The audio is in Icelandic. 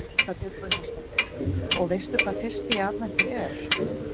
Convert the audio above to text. Erla Björg Gunnarsdóttir: Og veistu hvað fyrsti í aðventu er?